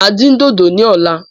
Máa dín dodo ní ọ̀la